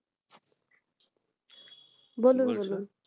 বলুন বলুন,